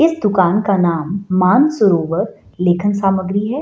इस दुकान का नाम मानसरोवर लेखन सामग्री है।